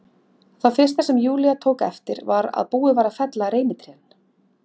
Það fyrsta sem Júlía tók eftir var að búið var að fella reynitrén.